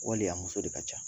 Wale a muso de ka ca